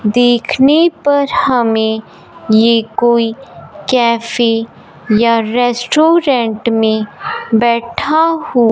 देखने पर हमें ये कोई कैफे या रेस्टोरेंट में बैठा हो--